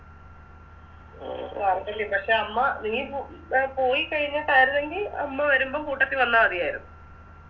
പക്ഷെ അമ്മ നീ പോ പോയിക്കഴിഞ്ഞിട്ടാരുന്നെങ്കി അമ്മ വരുമ്പോ കൂട്ടത്തി വന്ന മതിയാരുന്ന്